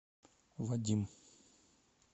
вадим